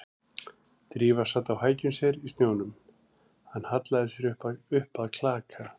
Drífa sat á hækjum sér í snjónum, hann hallaði sér upp að klaka